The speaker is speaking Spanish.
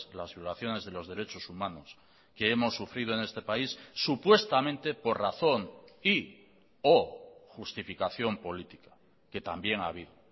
las violaciones de los derechos humanos que hemos sufrido en este país supuestamente por razón y o justificación política que también ha habido